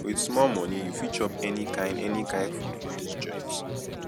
wit small moni you fit chop any kain any kain food for dis joint